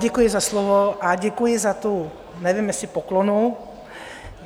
Děkuji za slovo a děkuji za tu, nevím, jestli poklonu.